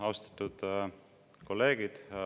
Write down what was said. Austatud kolleegid!